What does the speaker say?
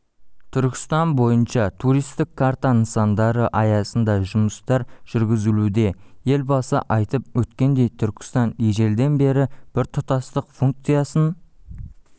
түркістан бойынша туристік карта нысандары аясында жұмыстар жүргізілуде елбасы айтып өткендей түркістан ежелден бері біртұтастық функциясын